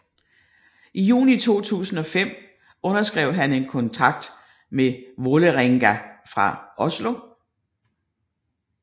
I juni 2005 underskrev han kontrakt med Vålerenga fra Oslo